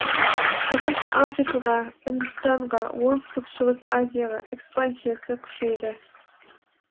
шығыс африкаға үндістанға оңтүстік шығыс азияға экспансиясы күшейді